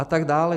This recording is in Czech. A tak dále.